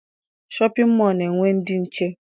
Shọpịn mọọ na-enwe ndị nche.